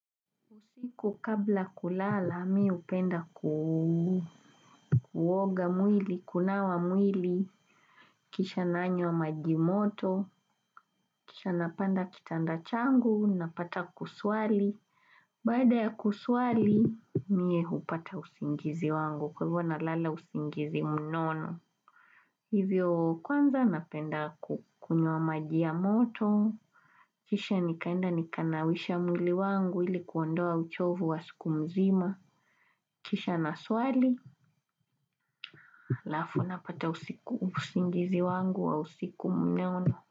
Usiku kabla kulala mimi hupenda kuoga mwili kunawa mwili kisha nanywa maji moto kisha napanda kitanda changu napata kuswali Baada ya kuswali mie hupata usingizi wangu kwa hivyo nalala usingizi mnono Hivyo kwanza napenda kukunywa maji ya moto Kisha nikaenda nikanawisha mwili wangu ili kuondoa uchovu wa siku mzima Kisha naswali, halafu napata usingizi wangu wa usiku mnono.